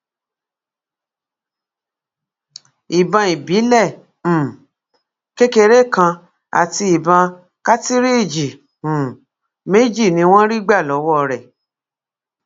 ìbọn ìbílẹ um kékeré kan àti ìbọn kàtìrìíjì um méjì ni wọn rí gbà lọwọ rẹ